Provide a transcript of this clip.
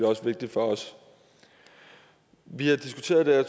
også vigtigt for os vi har diskuteret det her